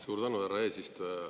Suur tänu, härra eesistuja!